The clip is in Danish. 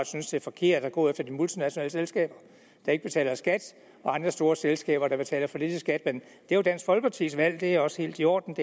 synes det er forkert at gå efter de multinationale selskaber der ikke betaler skat og andre store selskaber der betaler for lidt i skat men det er jo dansk folkepartis valg og det er også helt i orden